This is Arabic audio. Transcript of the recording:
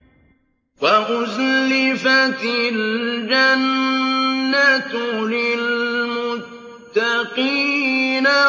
وَأُزْلِفَتِ الْجَنَّةُ لِلْمُتَّقِينَ